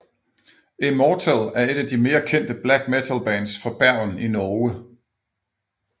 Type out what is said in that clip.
Immortal er et af de mere kendte black metalbands fra Bergen i Norge